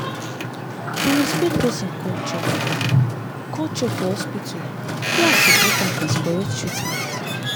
to respect person culture for culture for hospital dey as important as correct treatment.